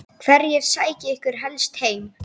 Hverjir sækja ykkur helst heim?